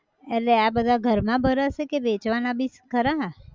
એટલે આ બધા ઘર માં ભરાશે કે, વેચવાના બી, ખરા!